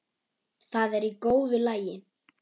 Það er í góðu lagi